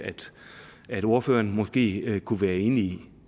at ordføreren måske kunne være enig